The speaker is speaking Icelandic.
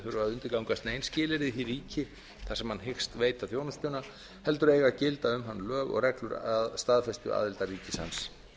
undirgangast nein skilyrði í ríki sem hann hyggst veita þjónustuna heldur eiga að gilda um hann lög og reglur að staðfestu aðildarríkis hans